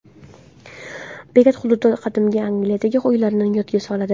Bekat xuddi qadimgi Angliyadagi uylarni yodga soladi.